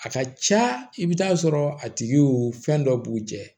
A ka ca i bɛ taa sɔrɔ a tigiw fɛn dɔ b'u cɛ